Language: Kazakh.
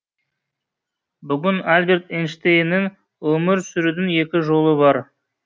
бүгін алберт эйнштейннің өмір сүрудің екі жолы бар